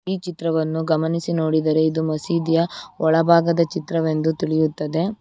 ಈ ಚಿತ್ರವನ್ನು ಗಮನಿಸಿ ನೋಡಿದರೆ ಇದು ಮಸೀದಿಯ ಒಳಭಾಗದ ಚಿತ್ರವೆಂದು ತಿಳಿಯುತ್ತದೆ.